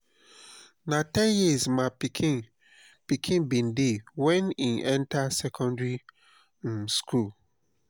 na ten years my pikin pikin bin dey wen e enta secondary um skool.